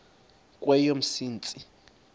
kweyomsintsi